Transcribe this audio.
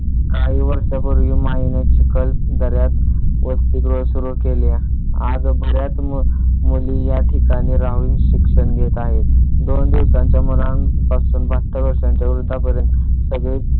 काही वर्षांपूर्वी माई चिखलदर्‍यास वसतीगृह सुरु केले. आज बऱ्याच मुली या ठिकाणी राहून शिक्षण घेत आहेत. दोन दिवसांच्या मुलांपासून बाहत्तर वर्षाच्या वृद्धांपर्यंत सगळे